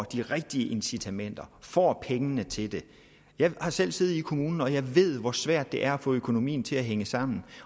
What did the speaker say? de rigtige incitamenter får pengene til det jeg har selv siddet i en kommune og jeg ved hvor svært det er at få økonomien til at hænge sammen